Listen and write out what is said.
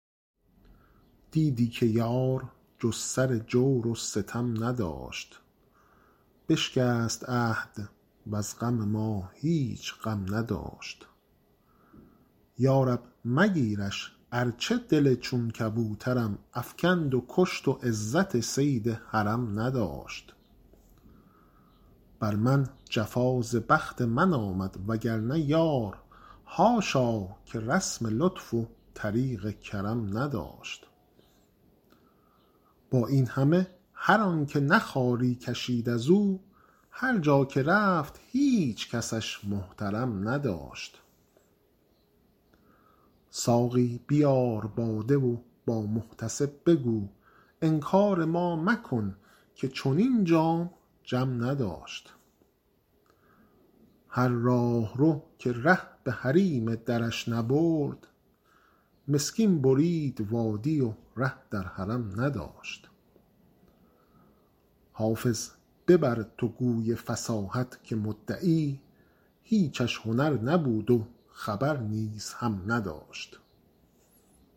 دیدی که یار جز سر جور و ستم نداشت بشکست عهد وز غم ما هیچ غم نداشت یا رب مگیرش ارچه دل چون کبوترم افکند و کشت و عزت صید حرم نداشت بر من جفا ز بخت من آمد وگرنه یار حاشا که رسم لطف و طریق کرم نداشت با این همه هر آن که نه خواری کشید از او هر جا که رفت هیچ کسش محترم نداشت ساقی بیار باده و با محتسب بگو انکار ما مکن که چنین جام جم نداشت هر راهرو که ره به حریم درش نبرد مسکین برید وادی و ره در حرم نداشت حافظ ببر تو گوی فصاحت که مدعی هیچش هنر نبود و خبر نیز هم نداشت